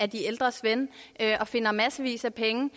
de ældres ven og finder massevis af penge